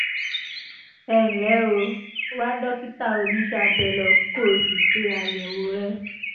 ẹ ǹlẹ́ o wá dókítà oníṣẹ́ abẹ lọ kó o sì ṣe àyẹ̀wò rẹ̀